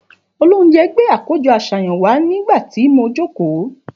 Òlòunjé gbé àkójõ àsáyan wà nigbati mò jòkó